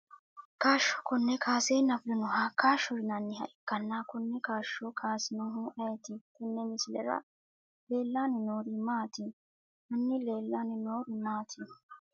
Kaasho kone kansena fulinoha kaasho yinaniha ikanna kone kaasho kaasinohu ayiiti tene misilera leelani noori maati hani leelani nori mati?